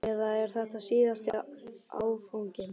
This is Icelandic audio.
Eða er þetta síðasti áfanginn?